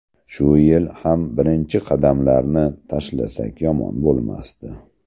Shu yil ham birinchi qadamlarni tashlasak yomon bo‘lmasdi.